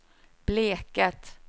Bleket